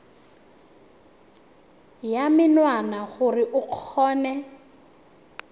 ya menwana gore o kgone